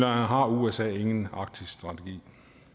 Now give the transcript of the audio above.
har usa ingen arktisstrategi